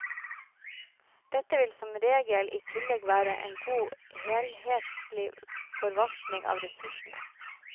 Dette vil som regel i tillegg være en god helhetlig forvaltning av ressursene.